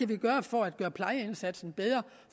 kan gøre for at gøre plejeindsatsen bedre